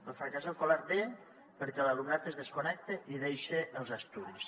el fracàs escolar ve perquè l’alumnat es desconnecta i deixa els estudis